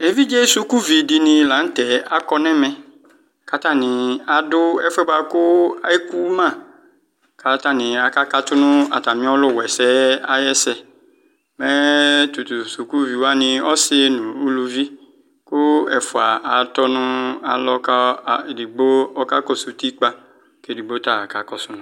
Evidze sʋkʋvi dini lanʋ tɛ akɔ nʋ ɛmɛ kʋ atani adʋ ɛfʋ yɛ bʋakʋ ekʋma kʋ atani aka katʋ nʋ atami ɔlʋwa ɛsɛ yɛ ayʋ ɛsɛ mɛ tatʋ sʋkʋvi wani ɔsɩ nʋ ʋlʋvi kʋ ɛfʋa atɔ kʋ alɔ kʋ ɔlʋ edigbo kakɔsʋ ʋtikpa kʋ edignobta kakɔsʋ ava